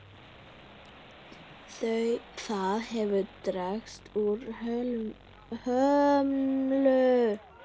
Það hefur dregist úr hömlu.